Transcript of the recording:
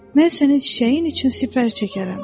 Mən sənin çiçəyin üçün sipər çəkərəm.